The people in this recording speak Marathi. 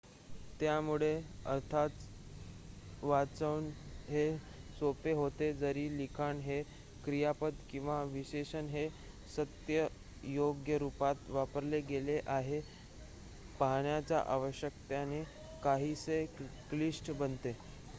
त्यामुळे अर्थातच वाचन हे सोपे होते जरी लिखाण हे क्रियापद किंवा विशेषण हे सत्य/योग्य रुपात वापरले गेले आहे हे पाहण्याच्या आवश्यकतेने काहीसे क्लिष्ट बनते